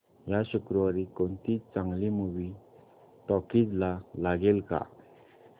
या शुक्रवारी कोणती चांगली मूवी टॉकीझ ला लागेल का